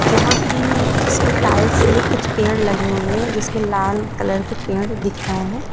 यहां की उसमें टाइल्स में कुछ पेड़ लगे हुए हैं जिसमें लाल कलर के पेड़ दिख रहे हैं।